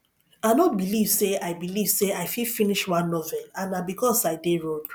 i no believe say i believe say i fit finish one novel and na because i dey road